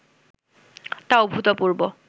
তা অভূতপূর্ব